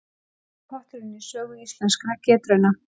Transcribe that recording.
Stærsti potturinn í sögu Íslenskra getrauna